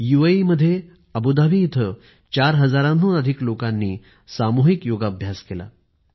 संयुक्त अरब एमिरात येथील अबुधाबी मध्ये जवळपास ४००० पेक्षा अधिक लोकांनी सामूहिक योगाभ्यास केला